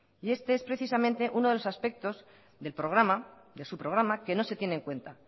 y este es precisamente uno de los aspectos del programa de su programa que no se tiene en cuenta